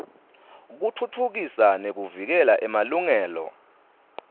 kutfutfukisa nekuvikela emalungelo